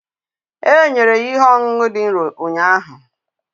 E nyere ya ihe ọṅụṅụ dị nro ụnyaahụ